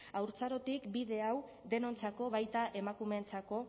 haurtzarotik bide hau denontzako baita emakumeentzako